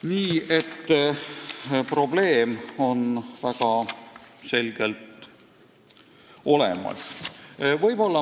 Nii et probleem on väga selgelt olemas.